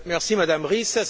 Merci Madame Ries.